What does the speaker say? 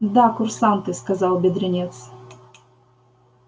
да курсанты сказал бедренец